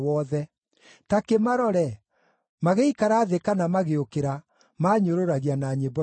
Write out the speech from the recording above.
Ta kĩmarore! Magĩikara thĩ kana magĩũkĩra, maanyũrũragia na nyĩmbo ciao.